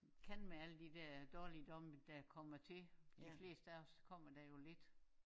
Kan med alle de der dårligdomme der kommer til de fleste af os kommer der jo lidt